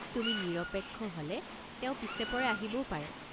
তুমি নিৰপেক্ষ হলে তেওঁ পিছেপৰে আহিবও পাৰে।